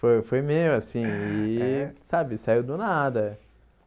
Foi foi meu, assim, é e, sabe, saiu do nada.